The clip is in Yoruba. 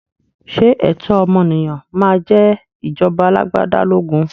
Ṣé ẹ̀tọ́ ọmọnìyàn máa jẹ ìjọba alagbada lógún?